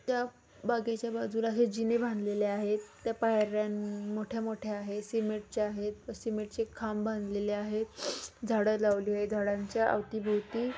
त्या बागेच्या बाजुला हे जीने बांधलेले आहेत पायर्‍या मोठ्या मोठ्या आहेत सेमेंटच्या आहेत सिमेंटचे खांब बाधलेले आहेत झाड लावलेली आहेत झाडांच्या अवती भोवती--